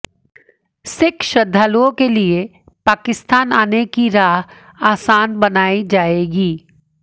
सिख श्रद्धालुओं के लिए पाकिस्तान आने की राह आसान बनाई जाएगी